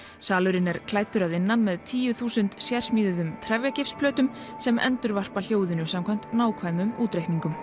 salurinn er klæddur að innan með tíu þúsund sérsmíðuðum sem endurvarpa hljóðinu samkvæmt nákvæmum útreikningum